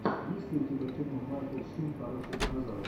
есть ли у тебя кино майкл шин хороший динозавр